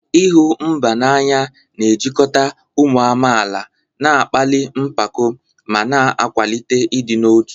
ịhụ mba n'anya na-ejikọta ụmụ amaala, na-akpali mpako, ma na-akwalite ịdị n'otu.